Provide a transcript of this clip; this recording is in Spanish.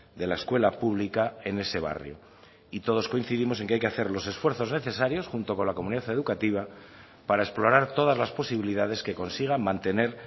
de la escuela pública en ese barrio y todos coincidimos en que hay que hacer los esfuerzos necesarios junto con la comunidad educativa para explorar todas las posibilidades que consigan mantener